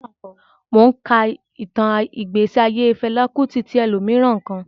Mò ún ka ìtàn ìgbésí ayé Fẹlá Kútì tí ẹlòmíràn kọ